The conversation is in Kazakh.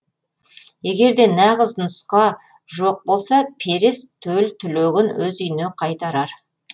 егер де нағыз нұсқа жоқ болса перес төл түлегін өз үйіне қайтарар